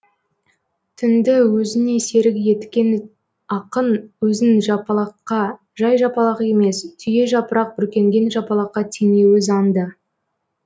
түнді өзіне серік еткен ақын өзін жапалаққа жай жапалақ емес түйежапырақ бүркенген жапалаққа теңеуі заңды